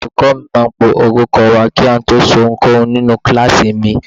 Olùkọ́ mi máa ń pe orúkọ wa kí a tó ṣe ohunkóhun nínú kíláàsì mi.